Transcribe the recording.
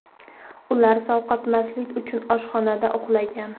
Ular sovqotmaslik uchun oshxonada uxlagan.